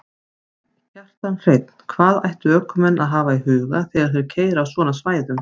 Kjartan Hreinn: Hvað ættu ökumenn að hafa í huga þegar þeir keyra á svona svæðum?